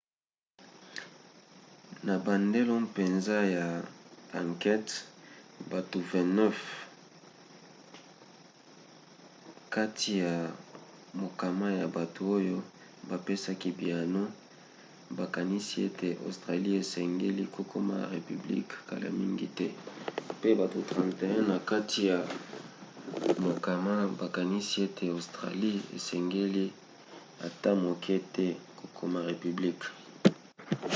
na bandelo mpenza ya ankete bato 29 na kati ya mokama ya bato oyo bapesaki biyano bakanisi ete australie esengeli kokoma repiblike kala mingi te pe bato 31 na kati ya mokama bakanisi ete australie esengeli ata moke te kokoma repiblike